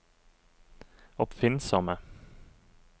oppfinnsomme